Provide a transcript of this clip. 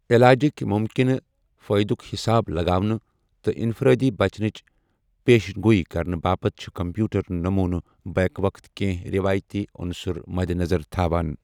علاجِکۍ مُمکنہٕ فٲیدُک حساب لگاونہٕ تہٕ انفرادی بچنٕچ پیشن گوئی کرنہٕ باپتھ چھِ کمپیوٹر نمونہٕ بیك وقت کینٛہہ رٮ۪وٲیتی اُنصر مدِنظر تھاوان۔